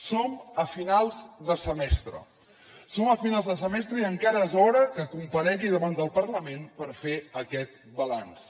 som a finals de semestre som a finals de semestre i encara és hora que comparegui davant del parlament per fer aquest balanç